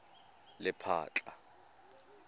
lephatla